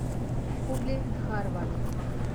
хубли дхарвад